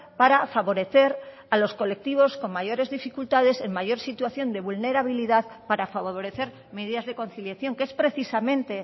para favorecer a los colectivos con mayores dificultades en mayor situación de vulnerabilidad para favorecer medidas de conciliación que es precisamente